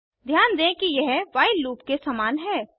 ध्यान दें कि यह व्हाइल लूप के समान है